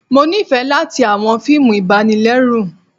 Mo nifẹ latí awọn fiimú ibànilẹrù